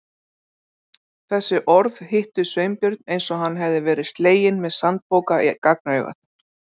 Þessi orð hittu Sveinbjörn eins og hann hefði verið sleginn með sandpoka í gagnaugað.